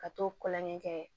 Ka t'o kɔlɔn ɲɛ kɛ